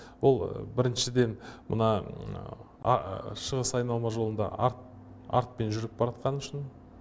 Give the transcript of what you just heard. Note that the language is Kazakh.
ол біріншіден мына шығыс айналма жолында артпен жүріп бара жатқаны үшін